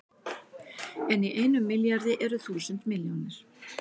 En í einum milljarði eru þúsund milljónir!